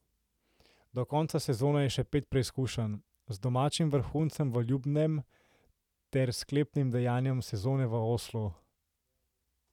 Do konca sezone je še pet preizkušenj, z domačim vrhuncem v Ljubnem ter sklepnim dejanjem sezone v Oslu.